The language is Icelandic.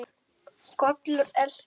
Kolur eltir.